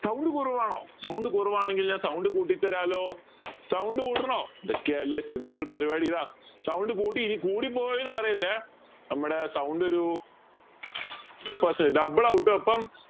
sound കുറവാണോ sound കുറവാണെങ്കിൽ ഞാൻ sound കൂട്ടിത്തരാലോ sound കൂട്ടണോ ഇതൊക്കെയല്ലേ simple പരിവാടി ഇതാ sound കൂട്ടി എനി കൂടിപ്പോയെന്ന് പറയല്ലേ നമ്മടെ sound ഒരു double ആവുട്ടോ ഇപ്പം